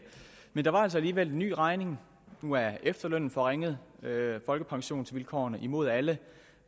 men der var altså alligevel en ny regning nu er efterlønnen forringet folkepensionsvilkårene er imod alle